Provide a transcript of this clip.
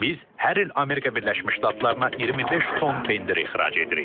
Biz hər il Amerika Birləşmiş Ştatlarına 25 ton pendir ixrac edirik.